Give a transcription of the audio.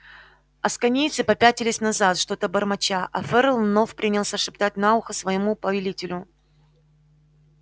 асконийцы попятились назад что-то бормоча а ферл вновь принялся шептать на ухо своему повелителю